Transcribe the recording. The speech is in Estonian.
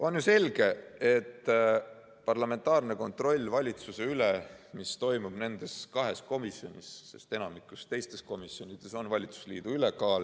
On ju selge, et parlamentaarne kontroll valitsuse üle toimub nendes kahes komisjonis, sest enamikus teistes komisjonides on valitsusliidu ülekaal.